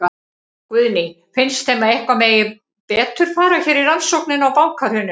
Guðný: Finnst þeim að eitthvað megi betur fara hér í rannsóknina á bankahruninu?